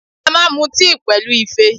A máa mu tíì pẹ̀lú Ife